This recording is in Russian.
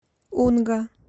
унга